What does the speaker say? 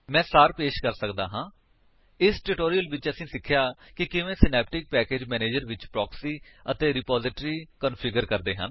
ਮੈਂ ਸਾਰ ਪੇਸ਼ ਕਰਦਾ ਹਾਂ ਇਸ ਟਿਊਟੋਰਿਅਲ ਵਿੱਚ ਅਸੀਂ ਸਿੱਖਿਆ ਕਿ ਕਿਵੇਂ ਸਿਨੈਪਟਿਕ ਪੈਕੇਜ ਮੈਨੇਜਰ ਵਿੱਚ ਪ੍ਰੋਕਸੀ ਅਤੇ ਰਿਪੋਜਿਟਰੀ ਕੰਫਿਗਰ ਕਰਦੇ ਹਨ